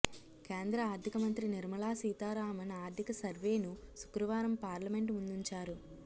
కేంద్ర ఆర్థిక మంత్రి నిర్మలా సీతారామన్ ఆర్థిక సర్వేను శుక్రవారం పార్లమెంటు ముందుంచారు